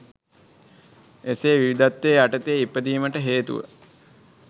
එසේ විවිධත්ව යටතේ ඉපදීමට හේතුව